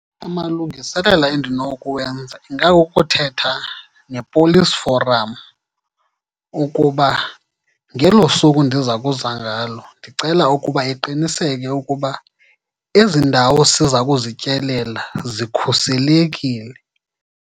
Amalungiselelo endinokuwenza ingakukuthetha nePolice Forum ukuba ngelo suku ndiza kuza ngalo ndicela ukuba iqiniseke ukuba ezi ndawo siza kuzityelela zikhuselekile.